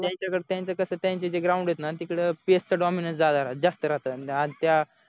त्यांचाकसा त्यांच कसं त्यांचे जे ground आहेत ना तिकडे पेस च dominance ज्यादा रहा जास्त रहातं